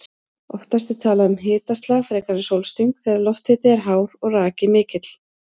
Oftast er talað um hitaslag frekar en sólsting þegar lofthiti er hár og raki mikill.